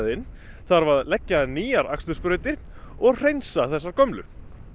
inn þarf að leggja nýjar og hreinsa þessar gömlu